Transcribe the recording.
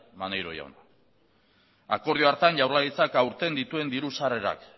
maneiro jauna akordio hartan jaurlaritzak aurten dituen diru sarrerak